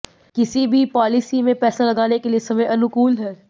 किसी भी पॉलिसी में पैसा लगाने के लिए समय अनुकूल है